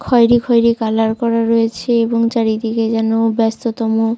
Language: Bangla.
খয়েরি খয়েরি কালার করা রয়েছে এবং চারিদিকে যেন ব্যাস্ততম।